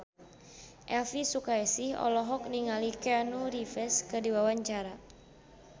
Elvi Sukaesih olohok ningali Keanu Reeves keur diwawancara